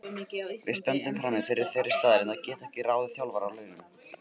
Við stöndum frammi fyrir þeirri staðreynd að geta ekki ráðið þjálfara á launum.